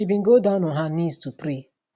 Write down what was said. she bin go down on her knees to pray